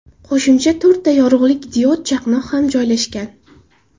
Qo‘shimcha to‘rtta yorug‘lik diod chaqnoq ham joylashgan.